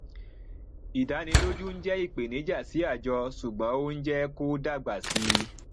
ìdánilójú ń jẹ ìpèníjà sí àjọ ṣùgbọn ó ń jẹ kó dagba sí i